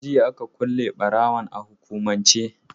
Jiya aka kule ɓarawon a hukumance